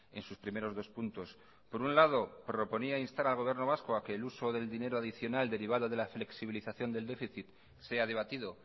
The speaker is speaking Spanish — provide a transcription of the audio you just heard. en sus primeros dos puntos por un lado proponía instar al gobierno vasco a que el uso del dinero adicional derivado de la flexibilización del déficit sea debatido